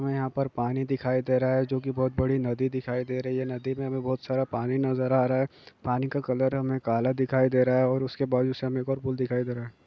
यहाँ पर पानी दिखाई दे रहा हैं। जो की बहुत बड़ी नदी दिखाई दे रही हैं। नदी में हमें बहुत सारा पानी नजर आ रहा हैं। पानी का कलर हमें काला दिखाई दे रहा हैं। और उसके बाजु से हमें एक और पुल दिखाई दे रहा हैं।